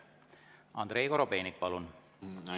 Andrei Korobeinik, palun!